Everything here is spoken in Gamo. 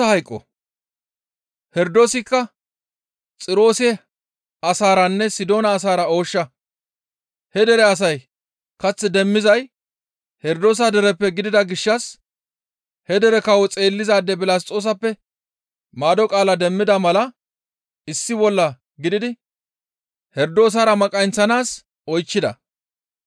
Herdoosikka Xiroose asaaranne Sidoona asaara ooshsha; he dere asay kath demmizay Herdoosa dereppe gidida gishshas he dere kawo xeellizaade Bilasxoosappe maado qaala demmida mala issi bolla gididi Herdoosara maqayinththanaas oychchida.